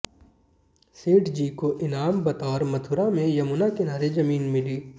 सेठजी को इनाम बतौर मथुरा में यमुना किनारे जमीन मिली